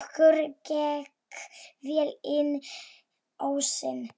Okkur gekk vel inn ósinn.